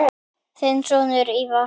Þinn sonur, Ívar.